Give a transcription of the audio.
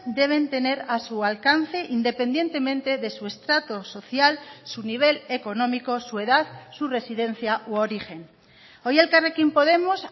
deben tener a su alcance independientemente de su estrato social su nivel económico su edad su residencia u origen hoy elkarrekin podemos